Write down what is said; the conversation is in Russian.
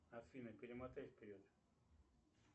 афина перемотай вперед